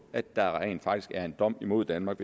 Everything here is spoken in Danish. at der rent faktisk er en dom imod danmark